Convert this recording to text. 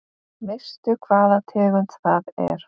Veistu hvaða tegund það er?